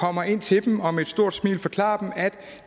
kommer ind til dem og med et stort smil forklarer dem at